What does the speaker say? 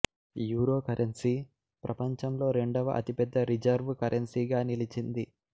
euro currency ప్రపంచంలో రెండవ అతిపెద్ద రిజర్వ్ కరెన్సీగా నిలిచింది